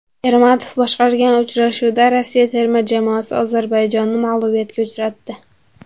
Ermatov boshqargan uchrashuvda Rossiya terma jamoasi Ozarbayjonni mag‘lubiyatga uchratdi.